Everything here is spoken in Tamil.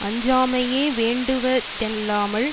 அஞ்சாமையே வேண்டுவ தல்லாமல்